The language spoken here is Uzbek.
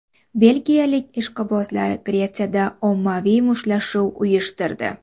Belgiyalik ishqibozlar Gretsiyada ommaviy mushtlashuv uyushtirdi.